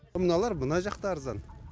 мыналар мына жақта арзан